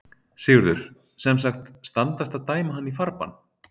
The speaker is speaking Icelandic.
Sigurður: Sem sagt, standast að dæma hann í farbann?